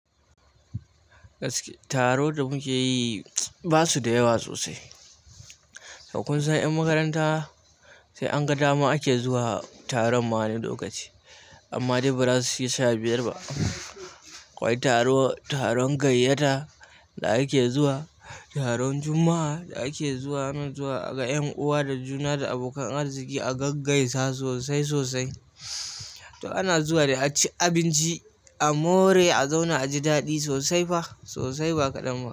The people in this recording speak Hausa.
Taro da mukeyi basuda yawa sosai so kun san 'yan makaranta sai an ga dama ake zuwa taron ma wani okaci. Amma dai bazasu kai sha biyar ba akwai taron gayyata da ake zuwa, taron Juma'a da ake zuwa nan zuwa ga ƴan uwa da juna da abokan arziki a gaggaisa sosai sosai. To ana zuwa da a ci abinci, a more a zauna a ji daɗi sosai fa sosai ba kaɗan ba.